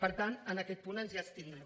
per tant en aquest punt ens abstindrem